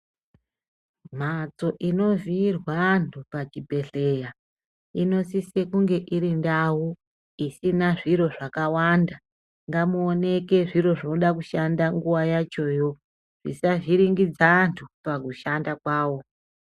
Mhatso inovhiirwa vantu pachibhedhlera inosese kunenge iri ndau isina zviro zvakawanda ngamuoeneke zviro zvoda kushanda nguwa yachoyo zvisavhiringidza antu pakushanda kwavo.